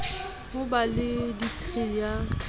ho ba le dikri ya